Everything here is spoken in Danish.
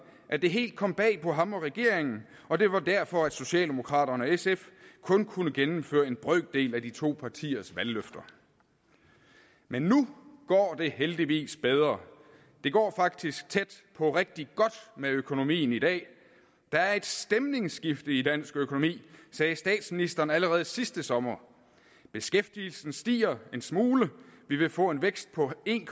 at det helt kom bag på ham og regeringen og det var derfor socialdemokraterne og sf kun kunne gennemføre en brøkdel af de to partiers valgløfter men nu går det heldigvis bedre det går faktisk tæt på rigtig godt med økonomien i dag der er et stemningsskifte i dansk økonomi sagde statsministeren allerede sidste sommer beskæftigelsen stiger en smule og vi vil få en vækst på en